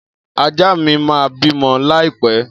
Ajá mi ma bimo laipe.